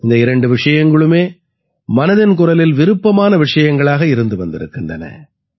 இந்த இரண்டு விஷயங்களுமே மனதின் குரலில் விருப்பமான விஷயங்களாக இருந்து வந்திருக்கின்றன